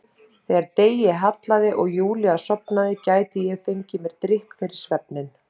Þegar degi hallaði og Júlía sofnaði gæti ég fengið mér drykk fyrir svefninn.